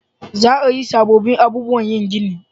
Za a yi sabobbin abubuwan yin gini